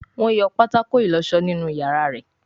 Wón yọ patako ìlósó nínú iyàrá rẹ.